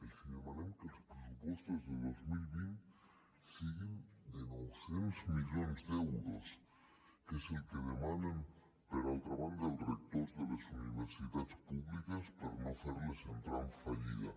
els demanem que els pressupostos de dos mil vint siguin de nou cents milions d’euros que és el que demanen per altra banda els rectors de les universitats públiques per no fer les entrar en fallida